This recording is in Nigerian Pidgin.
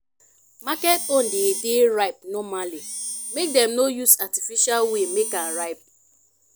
market own dey ripe normally make dem no use artificial way make am ripe